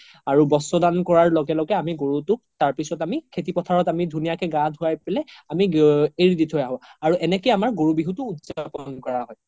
আৰু বস্ত্ৰ দান কৰা লগে লগে আমি গৰুতোক তাৰ পিছ্ত আমি খেতি পথাৰত আমি ধুনিয়াকে গা ধুৱাই পেলে এৰি দি থৌ আহো আৰু এনেকে আমাৰ গৰু বিহুতো উদযাপন কৰা হয়